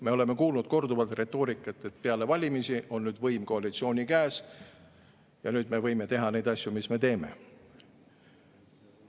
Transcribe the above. Me oleme kuulnud korduvalt retoorikat, et peale valimisi on võim koalitsiooni käes ja nüüd me võime teha neid asju, mis me teeme.